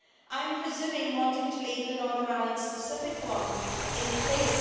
I'm presuming wanting to leave the Northern Ireland specific one in place.